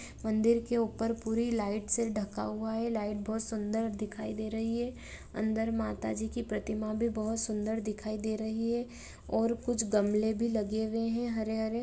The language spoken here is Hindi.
मंदिर के ऊपर पूरी लाइट से ढका हुआ है लाइट बहुत सुदर दिखाई दे रही है अंदर माता जी की प्रतिमा भी बहुत सुदर दिखाई दे रही है और कुछ गमले भी लगे है हरे हरे --